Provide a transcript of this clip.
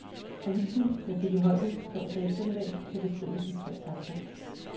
Avisen, jeg fik i hånden torsdag eftermiddag, kan beskrives i tre takter.